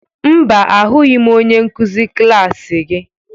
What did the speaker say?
Mba, ahụghị m onye nkuzi klas gị.